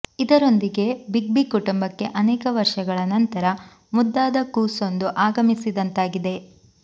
ಇದರೊಂದಿಗೆ big B ಕುಟುಂಬಕ್ಕೆ ಅನೇಕ ವರ್ಷಗಳ ನಂತರ ಮುದ್ದಾದ ಕೂಸೊಂದು ಆಗಮಿಸಿದಂತಾಗಿದೆ